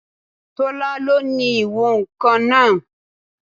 Tọ́lá lo ní ìwọ̀n-ǹkan náà